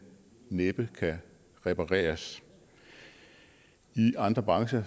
næppe kan repareres i andre brancher